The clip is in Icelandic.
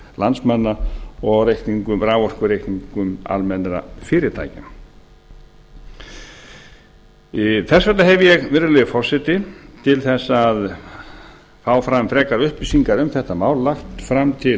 landsmanna og á raforkureikningum almennra fyrirtækja þess vegna hef ég virðulegi forseti til þess að fá fram frekari upplýsingar um þetta mál lagt fram til